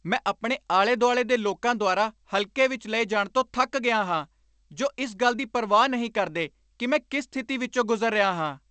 ਮੈਂ ਆਪਣੇ ਆਲੇ ਦੁਆਲੇ ਦੇ ਲੋਕਾਂ ਦੁਆਰਾ ਹਲਕੇ ਵਿਚ ਲਏ ਜਾਣ ਤੋਂ ਥੱਕ ਗਿਆ ਹਾਂ ਜੋ ਇਸ ਗੱਲ ਦੀ ਪਰਵਾਹ ਨਹੀਂ ਕਰਦੇ ਕਿ ਮੈਂ ਕਿਸ ਸਥਿਤੀ ਵਿਚੋਂ ਗੁਜ਼ਰ ਰਿਹਾ ਹਾਂ।